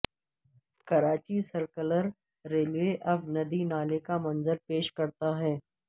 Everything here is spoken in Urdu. کراچی سرکلر ریلوے اب ندی نالے کا منظر پیش کرتا ہے